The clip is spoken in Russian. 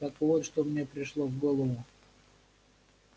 так вот что мне пришло в голову